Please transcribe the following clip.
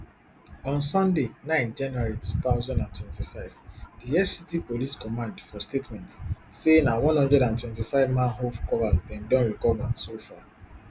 on sunday nine january two thousand and twenty-five di fct police command for statement say na one hundred and twenty-five manhole covers dem don recover so far